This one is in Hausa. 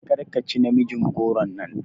Karka ci namijin goron nan!